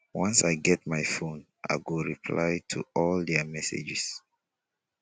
once i get my fone i go reply to all their messages.